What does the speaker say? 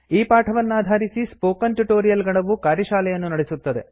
ಈ ಪಾಠವನ್ನಾಧಾರಿಸಿ spoken tutorial ಗಣವು ಕಾರ್ಯಶಾಲೆಯನ್ನು ನಡೆಸುತ್ತದೆ